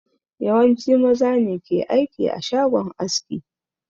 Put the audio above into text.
Yawanci maza ne ke aiki a shagon aski